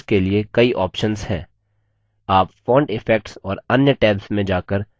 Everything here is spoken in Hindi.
आप font effects और अन्य tabs में जाकर अधिक सीख सकते हैं